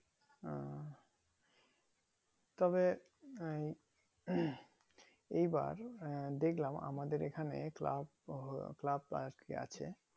ওহ তবে ওই এই বার আহ ফেললাম আমাদের এখানে club বা ওর club বা আটকে আছে